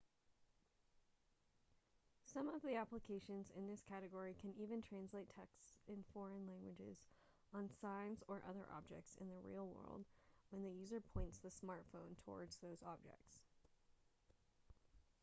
some of the applications in this category can even translate texts in foreign languages on signs or other objects in the real world when the user points the smartphone towards those objects